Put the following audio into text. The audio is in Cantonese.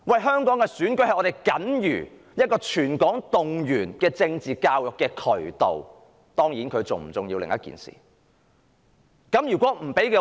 香港的選舉是僅餘能夠向全港進行政治教育的渠道，當然，這是否重要是另一回事。